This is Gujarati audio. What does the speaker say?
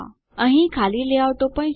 અહીં ખાલી લેઆઉટો પણ છે